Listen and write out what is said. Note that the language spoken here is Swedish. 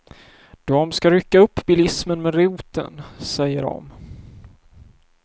Dom ska rycka upp bilismen med roten, säger dom.